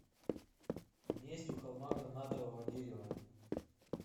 месть у холма гранатового дерева